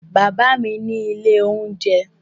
Bàbá mi ní ilé-oúnjẹ.